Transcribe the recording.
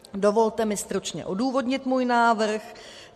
Dovolte mi stručně odůvodnit svůj návrh.